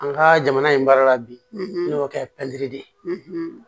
An ka jamana in baara la bi n'o kɛ pɛridi de ye